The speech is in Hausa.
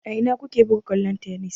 A ina ku ke buga kwallon tennis?